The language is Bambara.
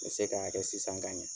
Me se k'a kɛ sisan ka ɲa.